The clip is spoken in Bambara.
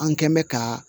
An kɛn mɛ ka